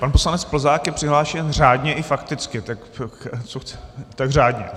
Pan poslanec Plzák je přihlášen řádně i fakticky - tak řádně.